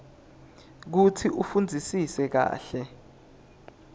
kutsi ufundzisise kahle